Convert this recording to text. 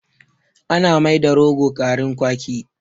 Ana mai da rogo garrin kwaki